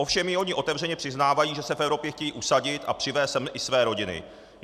Ovšem i oni otevřeně přiznávají, že se v Evropě chtějí usadit a přivést sem i své rodiny.